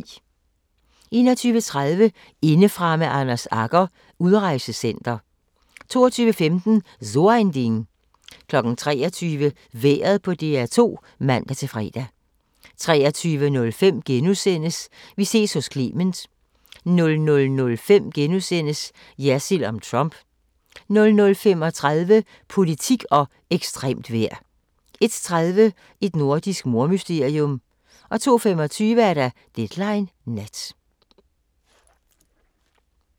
21:30: Indefra med Anders Agger – Udrejsecenter 22:15: So ein Ding 23:00: Vejret på DR2 (man-fre) 23:05: Vi ses hos Clement * 00:05: Jersild om Trump * 00:35: Politik og ekstremt vejr 01:30: Et nordisk mordmysterium 02:25: Deadline Nat